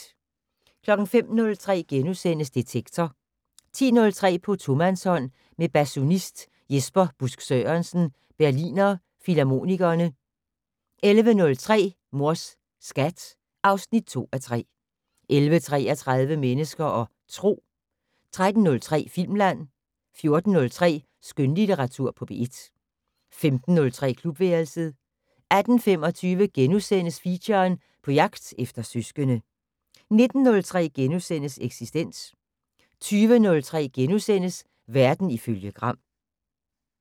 05:03: Detektor * 10:03: På tomandshånd med basunist Jesper Busk Sørensen, Berliner Philharmonikerne 11:03: Mors Skat (2:3) 11:33: Mennesker og Tro 13:03: Filmland 14:03: Skønlitteratur på P1 15:03: Klubværelset 18:25: Feature: På jagt efter søskende * 19:03: Eksistens * 20:03: Verden ifølge Gram *